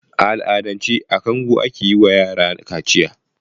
A al'adance a kango ake yi wayara kaciya.